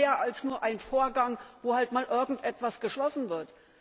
Das ist doch mehr als nur ein Vorgang, wo halt mal irgendetwas geschlossen wird.